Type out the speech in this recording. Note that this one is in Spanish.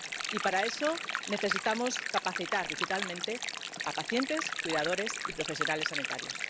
Y para eso necesitamos capacitar digitalmente a pacientes, cuidadores y profesionales sanitarios.